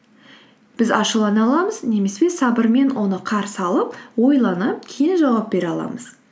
біз ашулана аламыз немесе сабырмен оны қарсы алып ойланып кейін жауап бере аламыз